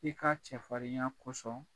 I ka cɛfarinya kosɔn